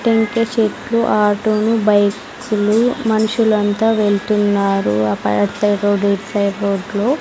టెంకాయ చెట్లు ఆటో ను బైక్ కులు మనుషులు అంత వెళ్తున్నారు అట్టు సైడ్ రోడ్ ఇటు సైడ్ రోడ్ లో.